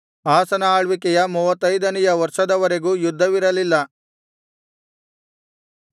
ಆಸನ ಆಳ್ವಿಕೆಯ ಮೂವತ್ತೈದನೆಯ ವರ್ಷದವರೆಗೂ ಯುದ್ಧವಿರಲಿಲ್ಲ